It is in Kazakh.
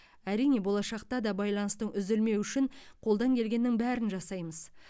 әрине болашақта да байланыстың үзілмеуі үшін қолдан келгеннің бәрін жасаймыз